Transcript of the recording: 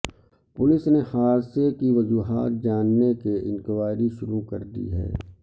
police نے حادثے کی وجوہات جاننے کے انکوائری شروع کر دی ہے